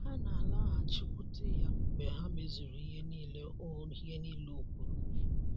Ha ‘ na - alaghachikwute ’ ya mgbe ha mezuru ihe nile o ihe nile o kwuru.